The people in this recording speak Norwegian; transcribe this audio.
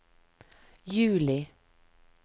juli